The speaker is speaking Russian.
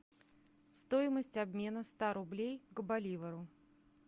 стоимость обмена ста рублей к боливару